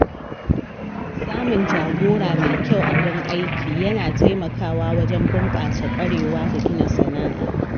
Samun jagora mai kyau a wurin aiki yana taimakawa wajen bunƙasa ƙwarewa da gina sana’a.